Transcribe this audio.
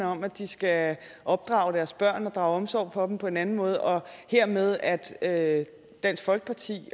om at de skal opdrage deres børn og drage omsorg for dem på en anden måde og dermed at at dansk folkeparti